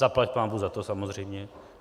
Zaplať pánbůh za to samozřejmě.